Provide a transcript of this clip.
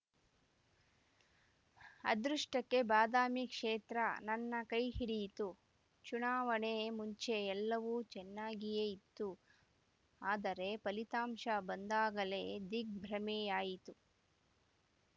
ಅದೃಷ್ಟಕ್ಕೆ ಬಾದಾಮಿ ಕ್ಷೇತ್ರ ನನ್ನ ಕೈ ಹಿಡಿಯಿತು ಚುನಾವಣೆ ಮುಂಚೆ ಎಲ್ಲವೂ ಚೆನ್ನಾಗಿಯೇ ಇತ್ತು ಆದರೆ ಫಲಿತಾಂಶ ಬಂದಾಗಲೇ ದಿಗ್ಭ್ರಮೆಯಾಯಿತು